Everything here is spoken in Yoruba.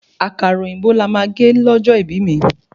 Àkàrà òyìnbó lama gé lójó ibí mi